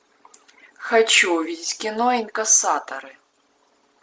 хочу увидеть кино инкассаторы